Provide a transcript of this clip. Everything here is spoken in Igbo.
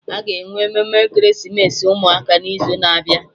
Aga enwe emume ekeresimesi ụmụaka n'izu na-abịa